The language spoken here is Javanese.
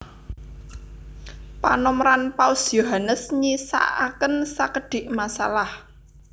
Panomeran Paus Yohanes nyisakaken sakedhik masalah